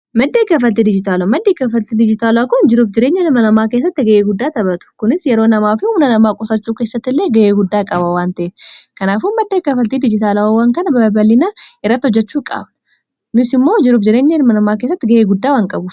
maddee gafaltii dijitaalaa maddii kafaltii dijitaala kun jirub jireenya hilmanamaa kessatti ga'ee guddaa taphatu kunis yeroo namaa fi una namaa qosachuu keessatt illee ga'ee guddaa qabawwan ta'e kanaafuun maddee kafaltii dijitaalaawwan kan babalinaa irratti hojjachuu qaaba unis immoo jirub jireenya hilma namaa kessatti ga'ee guddaa wan qabu